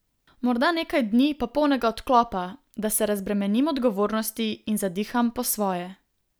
Morda nekaj dni popolnega odklopa, da se razbremenim odgovornosti in zadiham po svoje.